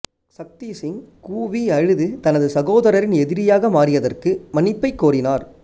சக்திசிங் கூவி அழுது தனது சகோதரரின் எதிரியாக மாறியதற்கு மன்னிப்பைக் கோரினார்